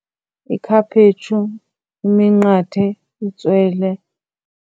Ikhaphetshu, iminqathe, itswele.